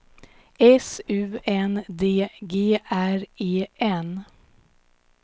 S U N D G R E N